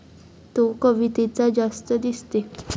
तो कवितेचा जास्त दिसते.